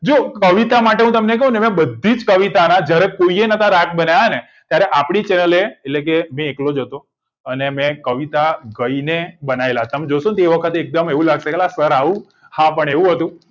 જો કવિતા માટે તમને કઉ ને મેં બધીજ કવિતાના જયારે કોઈએ રાગ નોતા બ્નાયાને આપડી channel એટલે કે મુ એકલો જ હતો અને મેં કવિતા ગઈને બનાયેલા એ વખતે એકદમ એવું લાગશે સર આવું હા પણ એવું હતું